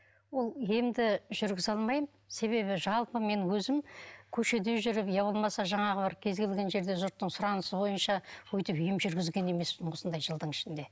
ол емді жүргізе алмаймын себебі жалпы мен өзім көшеде жүріп иә болмаса жаңағы бір кез келген жерде жұрттың сұранысы бойынша өйтіп ем жүргізген емеспін осындай жылдың ішінде